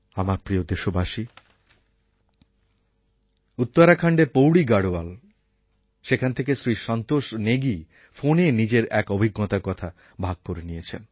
আমার প্রিয় দেশবাসী উত্তরাখণ্ডের পৌড়ী গাড়োয়াল থেকে শ্রী সন্তোষ নেগি ফোনে নিজের এক অভিজ্ঞতার কথা ভাগ করে নিয়েছেন